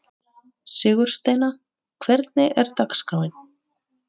Sigursteina, hvernig er dagskráin?